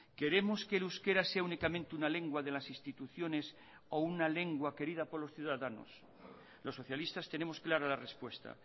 queremos que el euskera sea únicamente una lengua de las instituciones o una lengua querida por los ciudadanos los socialistas tenemos clara la respuesta